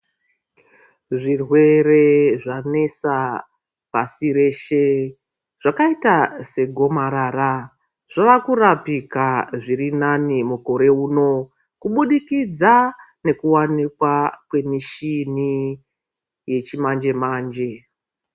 Zvirwere zvanesa pasi reshe zvakaita segomarara zvava kurapika zvirinani mukore uno kubudikidza kwekuwanikwa kwemuchini yechimanje manje.